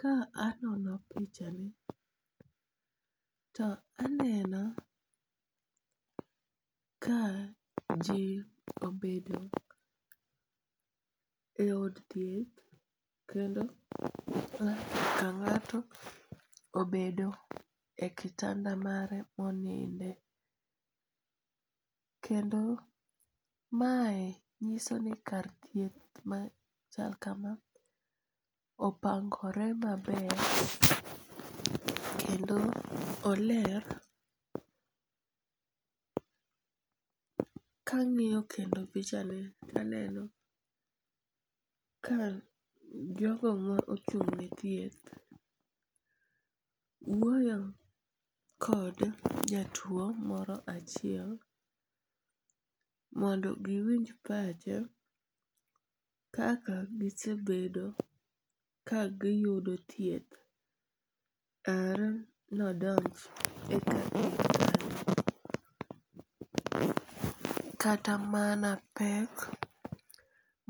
Ka anono picha ni to aneno ka ji obedo e od thieth, kendo ng'ato ka ng'ato obedo e kitanda mare monindo, kendo mae nyisoni kar thieth machal kama opangore maber kendo oler kang'iyo kendo pichani to aneno ka jogo ma ochung'ne thieth wuoyo kod jatuo moro achiel mondo giwinj pache kaka gisebedo ka giyudo thieth are ne odonj e kar thieth kae, kata mana pek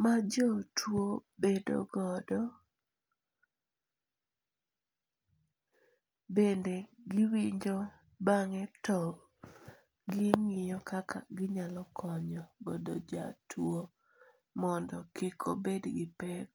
majotuo bedo godo bende giwinjo bang'e to gingiyo kaka ginyalo konyo godo jatuo mondo kik obed gi pek.